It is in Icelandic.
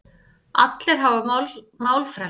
Allir hafa málfrelsi.